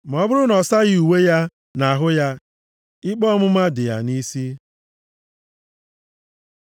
Ma ọ bụrụ na ọ saghị uwe ya na ahụ ya, ikpe ọmụma dị ya nʼisi.’ ”